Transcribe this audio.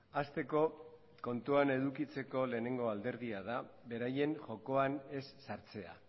hasteko kontutan edukitzeko lehenengo alderdia da beraien jokoan ez sartzea